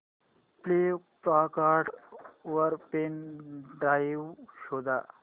Flipkart वर pen drive शोधा